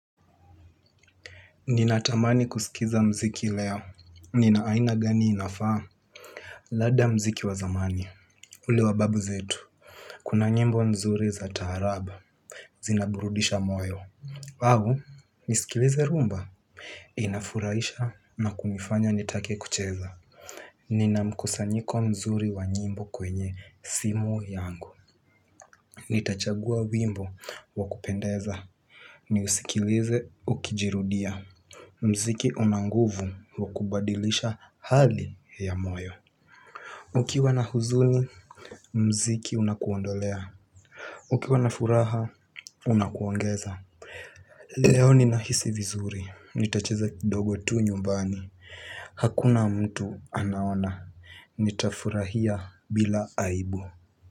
Ninatamani kusikiza muziki leo. Ni aina gani inafaa? Labda muziki wa zamani. Ule wa babu zetu. Kuna nyimbo nzuri za taarab. Zinaburudisha moyo, au, nisikilize rumba? Inafurahisha na kunifanya nitake kucheza. Ninamkusanyiko mzuri wa nyimbo kwenye simu yangu. Nitachagua wimbo wakupendeza. Niusikilize ukijirudia. Muziki una nguvu ya kubadilisha hali ya moyo. Ukiwa na huzuni, muziki unakuondolea. Ukiwa na furaha, unakuongeza. Leo ninahisi vizuri, nitacheza kidogo tu nyumbani, hakuna mtu anaona, nitafurahia bila aibu.